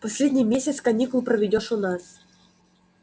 последний месяц каникул проведёшь у нас